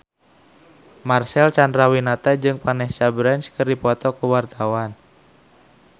Marcel Chandrawinata jeung Vanessa Branch keur dipoto ku wartawan